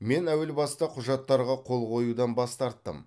мен әуел баста құжаттарға қол қоюдан бас тарттым